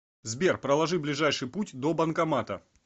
сбер проложи ближайший путь до банкомата